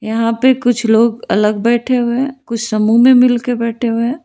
यहां पे कुछ लोग अलग बैठे हुए हैं कुछ समूह में मिलके बैठे हुए हैं।